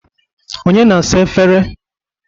Onye na-asa efere?